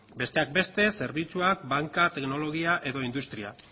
besteak beste zerbitzuak bankak teknologia edo industria